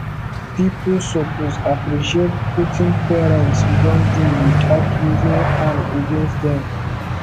pipo suppose appreciate wetin parents don do without using am against dem